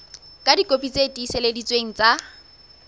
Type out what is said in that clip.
ka dikopi tse tiiseleditsweng tsa